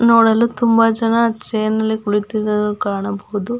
ನೋಡಲು ತುಂಬ ಜನ ಚೇರ್ ನಲ್ಲಿ ಕುಳಿತಿರುದು ಕಾಣಬಹುದು.